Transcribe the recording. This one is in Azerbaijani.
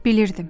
Bilmirdim.